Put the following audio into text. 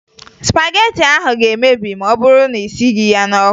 Spagetị ahụ ga-emebi ma ọ bụrụ na ị sighi ya n'ọkụ